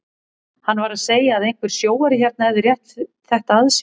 Hann var að segja að einhver sjóari hérna hefði rétt þetta að sér.